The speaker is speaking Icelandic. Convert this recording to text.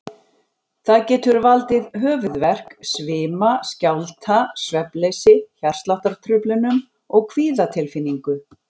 Það getur valdið höfuðverk, svima, skjálfta, svefnleysi, hjartsláttartruflunum og kvíðatilfinningu.